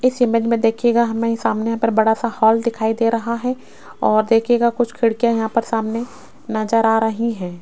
इस इमेज में देखिएगा हमें ही सामने बड़ा सा हॉल दिखाई दे रहा है और देखिएगा कुछ खिड़कियां यहां पर सामने नजर आ रही हैं।